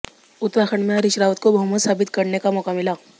उत्तराखंड में हरीश रावत को बहुमत साबित करने का मौका मिला